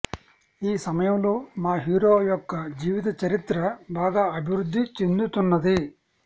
ఈ సమయంలో మా హీరో యొక్క జీవితచరిత్ర బాగా అభివృద్ధి చెందుతున్నది